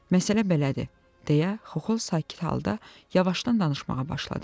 Məsələ belədir deyə Xoxol sakit halda yavaşdan danışmağa başladı.